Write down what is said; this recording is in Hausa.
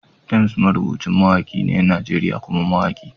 Temz marubucin mawaki ne na Najeriya kuma mawaki.